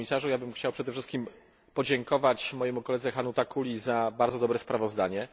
Panie Komisarzu! Chciałbym przede wszystkim podziękować mojemu koledze Hannu Takuli za bardzo dobre sprawozdanie.